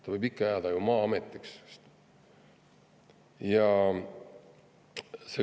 Ta võib ikka ju jääda Maa-ametiks.